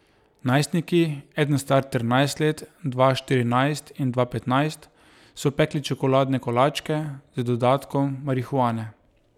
Najstniki, eden star trinajst let, dva štirinajst in dva petnajst, so pekli čokoladne kolačke z dodatkom marihuane.